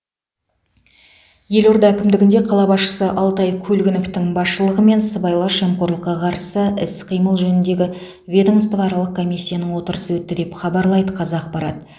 елорда әкімдігінде қала басшысы алтай көлгіновтің басшылығымен сыбайлас жемқорлыққа қарсы іс қимыл жөніндегі ведомствоаралық комиссияның отырысы өтті деп хабарлайды қазақпарат